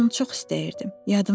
Mən onu çox istəyirdim.